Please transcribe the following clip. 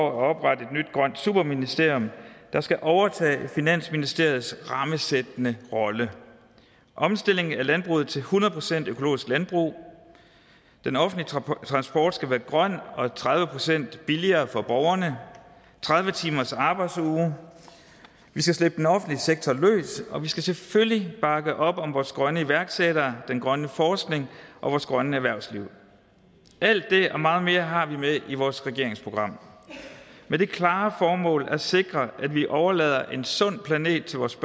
at oprette et nyt grønt superministerium der skal overtage finansministeriets rammesættende rolle omstilling af landbruget til hundrede procent økologisk landbrug den offentlige transport skal være grøn og tredive procent billigere for borgerne tredive timers arbejdsuge vi skal slippe den offentlige sektor løs og vi skal selvfølgelig bakke op om vores grønne iværksættere den grønne forskning og vores grønne erhvervsliv alt det og meget mere har vi med i vores regeringsprogram og det klare formål at sikre at vi overlader en sund planet til vores